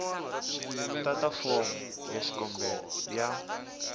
tata fomo ya xikombelo ya